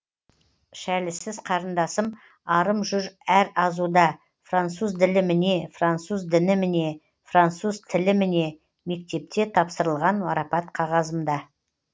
шәлісіз қарындасым арым жүр әр азуда француз ділі міне француз діні міне француз тілі міне мектепте тапсырылған марапат қағазымда